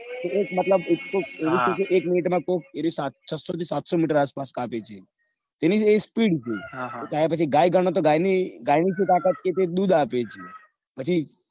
મતલબ એ વાવું છે કે એક મિનિટ માં કોક છસ્સો થી સાતસો મીટર આસપાસ કાપે છે. એની એ spee થઇ ગાય ગણો તો એ ગાય ની સુ તાકાત કે એ દૂધ આપે છે પછી